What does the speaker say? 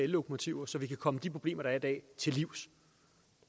ellokomotiver så vi kan komme de problemer der er i dag til livs